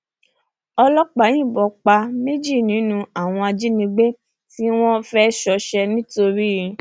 ọlọpàá yìnbọn pa méjì nínú àwọn ajínigbé tí wọn fẹẹ ṣọṣẹ ńìtorí